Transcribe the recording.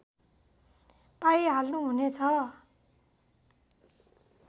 पाइहाल्नु हुनेछ